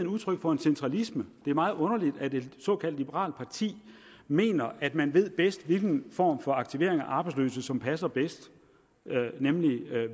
udtryk for en centralisme det er meget underligt at et såkaldt liberalt parti mener at man bedst ved hvilken form for aktivering af arbejdsløse som passer bedst nemlig